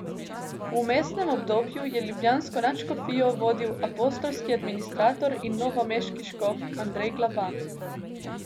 V vmesnem obdobju je ljubljansko nadškofijo vodil apostolski administrator in novomeški škof Andrej Glavan.